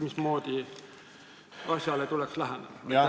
... mismoodi asjale tuleks läheneda?